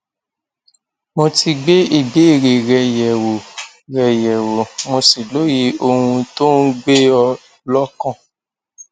mo ti gbé ìbéèrè rẹ yẹwò rẹ yẹwò mo sì lóye ohun tó ń gbé ọ lọkàn